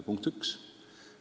Punkt 1.